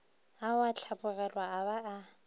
ao a hlapologelwa a ba